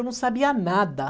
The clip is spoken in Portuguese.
Eu não sabia nada.